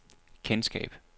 kendskab